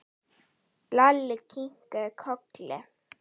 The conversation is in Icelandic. Lalli kinkaði kolli.